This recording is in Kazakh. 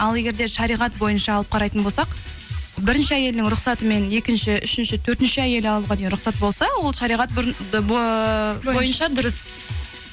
ал егер де шариғат бойынша алып қарайтын болсақ бірінші әйелінің рұқсатымен екінші үшінші төртінші әйел алуға дейін рұқсат болса ол шариғат бұрын бойынша дұрыс